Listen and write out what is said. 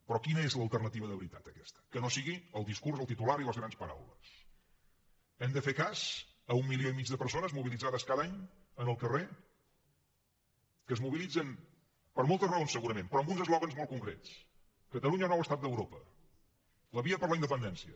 però quina és l’alternativa de veritat a aquesta que no sigui el discurs el titular i les grans paraules hem de fer cas a un milió i mig de persones mobilitzades cada any en el carrer que es mobilitzen per moltes raons segurament però amb uns eslògans molt concrets catalunya nou estat d’europa la via per la independència